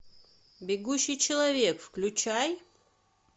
бегущий человек включай